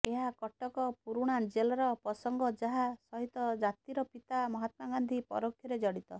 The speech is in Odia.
ଏହା କଟକ ପୁରୁଣା ଜେଲ୍ର ପ୍ରସଙ୍ଗ ଯାହା ସହିତ ଜାତିର ପିତା ମହତ୍ମା ଗାନ୍ଧୀ ପରୋକ୍ଷରେ ଜଡ଼ିତ